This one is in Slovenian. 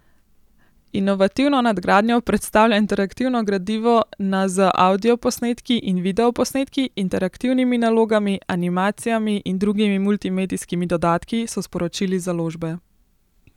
Inovativno nadgradnjo predstavlja interaktivno gradivo na z avdioposnetki in videoposnetki, interaktivnimi nalogami, animacijami in drugimi multimedijskimi dodatki, so sporočili z založbe.